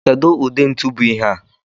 Kedu ụdị ntu bụ ihea?